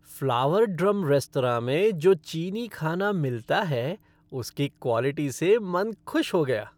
Flower Drum restaurant में जो चीनी खाना मिलता है उसकी क्वालिटी से मन खुश हो गया।